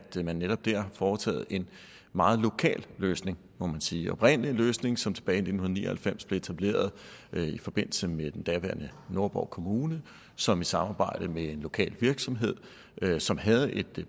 man netop har foretaget en meget lokal løsning må man sige oprindelig en løsning som tilbage i nitten ni og halvfems blev etableret i forbindelse med den daværende nordborg kommune som i samarbejde med en lokal virksomhed som havde et